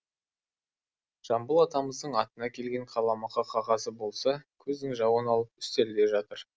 жамбыл атамыздың атына келген қаламақы қағазы болса көздің жауын алып үстелде жатыр